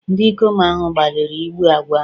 Ndị ikom ahụ gbalịrị igbu agwọ ahụ